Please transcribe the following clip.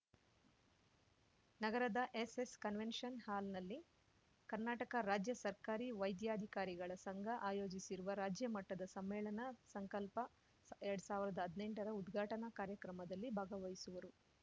ನಗರದ SS convention ಹಾಲ್‌ನಲ್ಲಿ ಕರ್ನಾಟಕ ರಾಜ್ಯ ಸರ್ಕಾರಿ ವೈದ್ಯಾಧಿಕಾರಿಗಳ ಸಂಘ ಆಯೋಜಿಸಿರುವ ರಾಜ್ಯ ಮಟ್ಟದ ಸಮ್ಮೇಳನ ಸಂಕಲ್ಪಎರಡ್ ಸಾವಿರ್ದಾ ಹದ್ನೆಂಟರ ಉದ್ಘಾಟನಾ ಕಾರ್ಯಕ್ರಮದಲ್ಲಿ ಭಾಗವಹಿಸುವರು